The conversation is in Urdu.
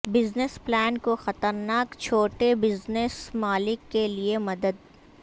بزنس پلان کو خطرناک چھوٹے بزنس مالک کے لئے مدد